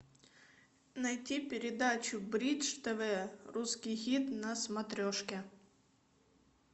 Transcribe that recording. найти передачу бридж тв русский хит на смотрешке